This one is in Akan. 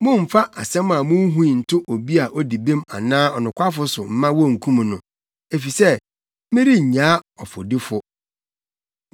Mommfa asɛm a munhui nto obi a odi bem anaa ɔnokwafo so mma wonkum no, efisɛ merennyaa ɔfɔdifo.